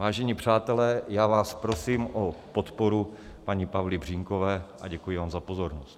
Vážení přátelé, já vás prosím o podporu paní Pavly Břínkové a děkuji vám za pozornost.